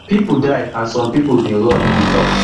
pipo die and some pipo bin run e tok